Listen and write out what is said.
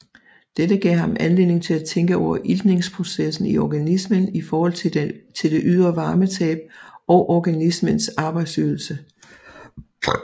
Dette gav ham anledning til at tænke over iltningsprocessen i organismen i forhold til det ydre varmetab og organismens arbejdsydelse